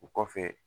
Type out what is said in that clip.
O kɔfɛ